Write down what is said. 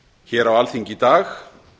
hér á alþingi í dag